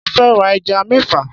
Mo fẹ́ ra ẹja mẹ́fà.